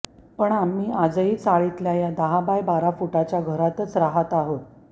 पण आम्ही आजही चाळीतल्या या दहा बाय बारा फुटाच्या घरातच राहत आहोत